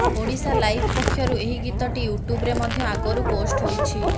ଓଡ଼ିଶାଲାଇଭ୍ ପକ୍ଷରୁ ଏହି ଗୀତଟି ୟୁଟ୍ୟୁବରେ ମଧ୍ୟ ଆଗରୁ ପୋଷ୍ଟ ହୋଇଛି